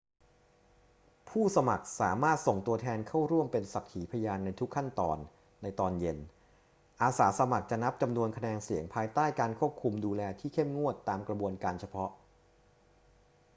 ผู้สมัครสามารถส่งตัวแทนเข้าร่วมเป็นสักขีพยานในทุกขั้นตอน ในตอนเย็น อาสาสมัครจะนับจำนวนคะแนนเสียงภายใต้การควบคุมดูแลที่เข้มงวดตามกระบวนการเฉพาะ